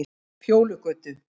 Fjólugötu